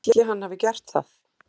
Ætli hann hafi gert það?